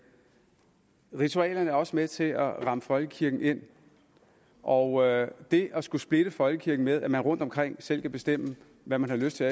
ritualerne er også med til at ramme folkekirken ind og det at skulle splitte folkekirken ved at man rundtomkring selv kan bestemme hvad man har lyst til